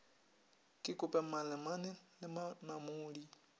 ke kope malemane le monamodi